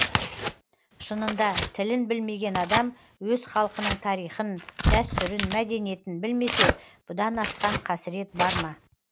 шынында тілін білмеген адам өз халқының тарихын дәстүрін мәдениетін білмесе бұдан асқан қасірет бар ма